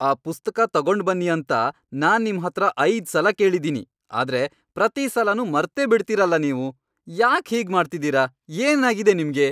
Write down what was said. ಆ ಪುಸ್ತಕ ತಗೊಂಡ್ಬನ್ನಿ ಅಂತ ನಾನ್ ನಿಮ್ಹತ್ರ ಐದ್ಸಲ ಕೇಳಿದೀನಿ, ಆದ್ರೆ ಪ್ರತೀ ಸಲನೂ ಮರ್ತೇಬಿಡ್ತೀರಲ ನೀವು. ಯಾಕ್ ಹೀಗ್ ಮಾಡ್ತಿದೀರ, ಏನಾಗಿದೆ ನಿಮ್ಗೆ?